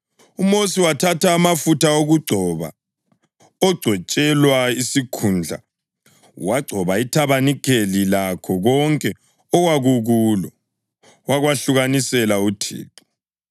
UMosi wathatha amafutha okugcoba ogcotshelwa isikhundla wagcoba ithabanikeli lakho konke okwakukulo, wakwahlukanisela uThixo.